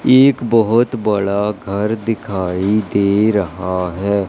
एक बहोत बड़ा घर दिखाई दे रहा है।